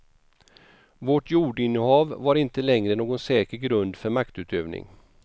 Vårt jordinnehav var inte längre någon säker grund för maktutövning.